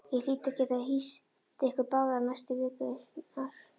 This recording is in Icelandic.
Ég hlýt að geta hýst ykkur báða næstu vikurnar